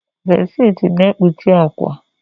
Bedsheeti na-ekpuchi akwa.